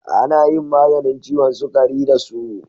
Ana yin maganin ciwon sukari da su.